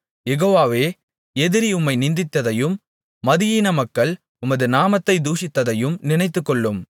யெகோவாவே எதிரி உம்மை நிந்தித்ததையும் மதியீன மக்கள் உமது நாமத்தைத் தூஷித்ததையும் நினைத்துக்கொள்ளும்